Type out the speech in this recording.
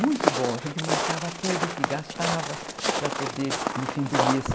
Muito bom, a gente marcava tudo o que gastava para poder no fim do mês,